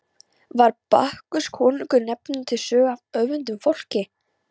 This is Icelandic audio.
Var Bakkus konungur nefndur til sögu af óvönduðu fólki.